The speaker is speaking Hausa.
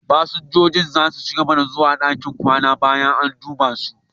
Fasinjojin za su ci gaba zuwa ɗakin kwana bayan an duba su.